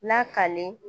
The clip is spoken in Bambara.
Lakale